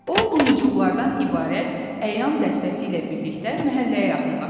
O lumucuqlardan ibarət əyan dəstəsi ilə birlikdə məhəlləyə yaxınlaşdı.